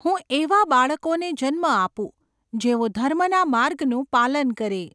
હું એવા બાળકોને જન્મ આપું, જેઓ ધર્મના માર્ગનું પાલન કરે!